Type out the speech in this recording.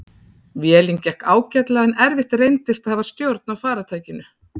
Vélin gekk ágætlega en erfitt reyndist að hafa stjórn á farartækinu.